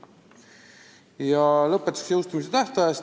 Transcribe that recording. Ja lõpetuseks jõustumise tähtajast.